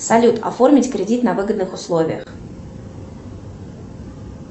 салют оформить кредит на выгодных условиях